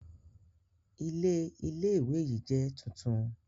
Ilé Ilé ìwé yìí jẹ́ tuntun